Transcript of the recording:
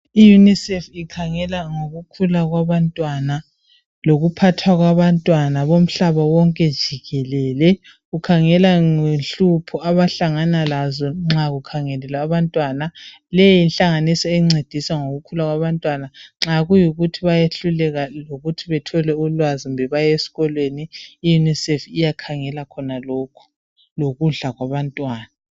I UNICEF ikhangela ngokukhula kwabantwana, lokuphathwa kwabantwana bomhlaba wonke jikelele, ikhangela ngenhlupho abahlangana lazo nxa kukhangelwe abantwana. Leyi yinhlanganiso encedisa ngokukhula kwabantwana nxa kuyikuthi bayehluleka lokuthi bathole ulwazi kumbe baye esikolweni,i UNICEF iyakhangela khonalokhu, lokudla kwabantwana.